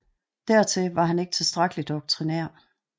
Dertil var han ikke tilstrækkelig doktrinær